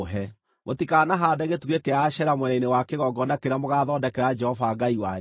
Mũtikanahaande gĩtugĩ kĩa Ashera mwena-inĩ wa kĩgongona kĩrĩa mũgaathondekera Jehova Ngai wanyu,